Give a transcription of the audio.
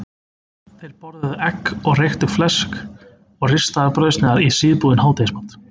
Þeir borðuðu egg og reykt flesk og ristaðar brauðsneiðar í síðbúinn hádegismat.